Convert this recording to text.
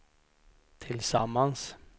tillsammans